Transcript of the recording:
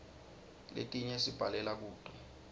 letinye sibhalela kuto